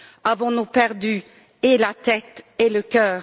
Avons nous perdu et la tête et le cœur?